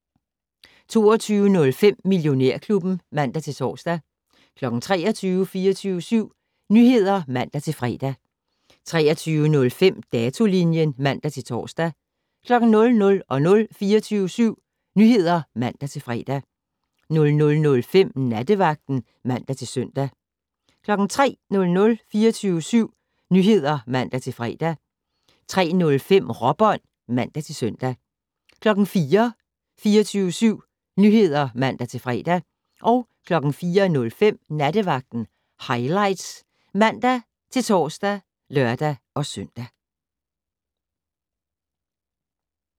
22:05: Millionærklubben (man-tor) 23:00: 24syv Nyheder (man-fre) 23:05: Datolinjen (man-tor) 00:00: 24syv Nyheder (man-fre) 00:05: Nattevagten (man-søn) 03:00: 24syv Nyheder (man-fre) 03:05: Råbånd (man-søn) 04:00: 24syv Nyheder (man-fre) 04:05: Nattevagten Highlights (man-tor og lør-søn)